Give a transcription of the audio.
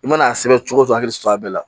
I mana a sɛbɛn cogo o cogo a hakili sɔrɔ a bɛɛ la